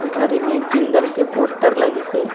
उधारी में एक जिंदल पोस्टर लगिस हे।